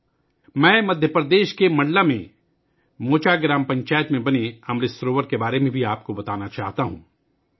میں آپ کو مدھیہ پردیش کے منڈلا میں موچا گرام پنچایت میں بنائے گئے امرت سروور کے بارے میں بھی بتانا چاہتا ہوں